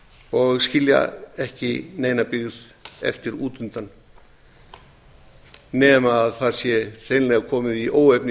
og skilja ekki neina byggð eftir út undan nema það sé hreinlega komið í óefni